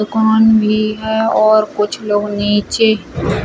कौन भी है और कुछ लोग नीचे।